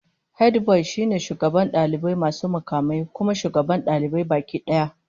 Hediboy shine shugaban dalibai masu mukamai, kuma shugaban dalibai baki daya